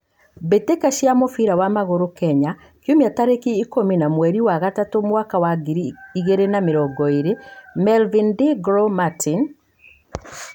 Mbitika cia mũbira wa magũrũ Kenya kiũmia tarĩki ikũmi wa mweri wa gatatũ mwaka wa ngiri igĩrĩ na mĩrongo ĩĩrĩ: Melvin, De Glow, Martin,